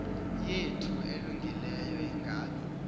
yethu elungileyo ingabi